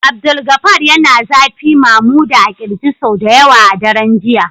Abdulgafar yana zafi Mamuda a kirji sau da yawa a daren jiya